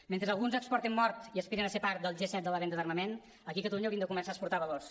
mentre alguns exporten mort i aspiren a ser part del g set de la venda d’armament aquí a catalunya hauríem de començar a exportar valors